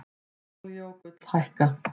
Olía og gull hækka